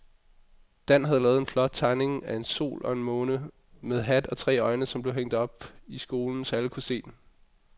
Dan havde lavet en flot tegning af en sol og en måne med hat og tre øjne, som blev hængt op i skolen, så alle kunne se den.